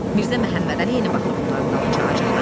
Mirzə Məmmədəli yenə baxır bunların dalınca acıqla.